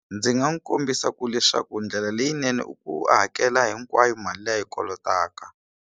Ndzi nga n'wi kombisa ku leswaku ndlela leyinene u hakela hinkwayo mali leyi a yi kolotaka.